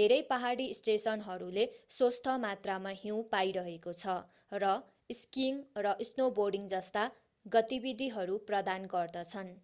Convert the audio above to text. धेरै पहाडी स्टेशनहरूले स्वस्थ मात्रामा हिउँ पाइरहेको छ र स्कीइङ र स्नोबोर्डिङजस्ता गतिविधिहरू प्रदान गर्दछन्